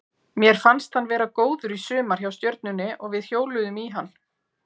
Mér fannst hann vera góður í sumar hjá Stjörnunni og við hjóluðum í hann.